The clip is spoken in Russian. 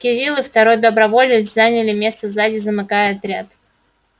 кирилл и второй доброволец заняли место сзади замыкая отряд